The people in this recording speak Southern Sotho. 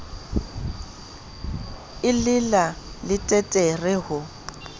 e le la leteterre ho